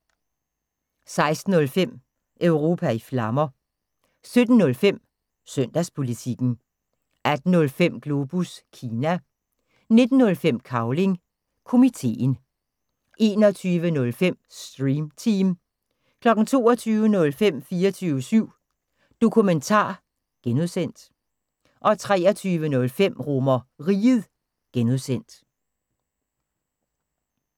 16:05: Europa i Flammer 17:05: Søndagspolitikken 18:05: Globus Kina 19:05: Cavling Komiteen 21:05: Stream Team 22:05: 24syv Dokumentar (G) 23:05: RomerRiget (G)